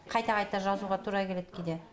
қайта қайта жазуға тура келеді кейде